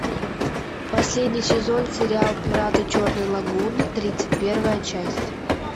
последний сезон сериал пираты черной лагуны тридцать первая часть